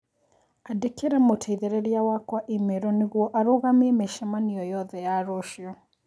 Andĩkĩra mũteithĩrĩria wakwa i-mīrū nĩguo arũgamie mĩcemanio yothe ya rũciũ.